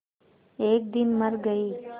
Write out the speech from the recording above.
एक दिन मर गई